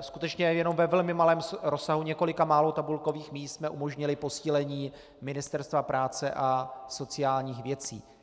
skutečně jenom ve velmi malém rozsahu několika málo tabulkových míst jsme umožnili posílení Ministerstva práce a sociálních věcí.